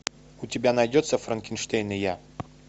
у тебя найдется франкенштейн и я